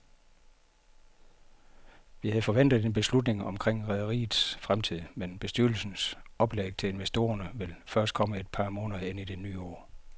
Vi havde forventet en beslutning omkring rederiets fremtid, men bestyrelsens oplæg til investorerne vil først komme et par måneder ind i det nye år.